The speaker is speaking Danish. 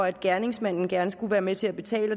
at gerningsmanden gerne skulle være med til at betale